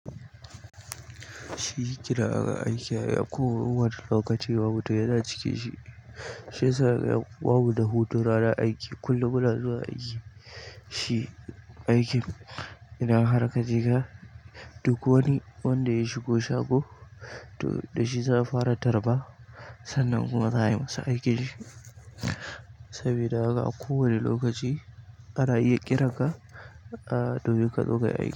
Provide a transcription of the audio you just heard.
Shi gida aka aiki ya yi a ko wani lokaci babu ɗaya na cike shi. Shi yasa ya babu da hutu rana aiki kullum muna zuwa aiki. Shi aikin yana har ƙa jika duk wani wanda ya shigo shago to da shi za a fara tarba sannan kuma za a yi masa aiki saboda aka a ko wani lokaci ana iya ƙiranka a domin kazo kayi aiki.